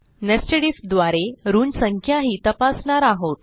nested IF द्वारे ऋण संख्याही तपासणार आहोत